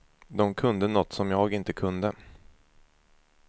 Dom kunde nåt som jag inte kunde.